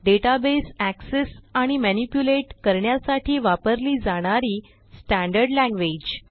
database access आणि manipulate करण्यासाठी वापरली जाणारी स्टँडर्ड लँग्वेज